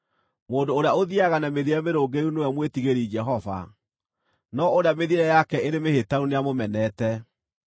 Mũndũ ũrĩa ũthiiaga na mĩthiĩre mĩrũngĩrĩru nĩwe mwĩtigĩri Jehova, no ũrĩa mĩthiĩre yake ĩrĩ mĩhĩtanu nĩamũmenete.